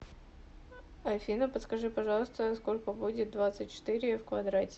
афина подскажи пожалуйста сколько будет двадцать четыре в квадрате